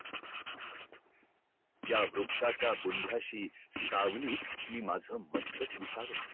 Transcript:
ह्या वृक्षाचा बुंध्या शी सावली मी माझ मस्तक विसावत ठेवलाय